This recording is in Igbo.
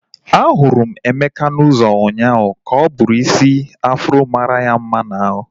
A hụrụ m Emeka n'ụzọ ụnyaahụ ka o bu udiri isi afro mara ya mma n'ahu